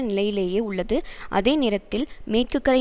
நிலையிலேயே உள்ளது அதே நேரத்தில் மேற்குக்கரை